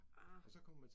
Ah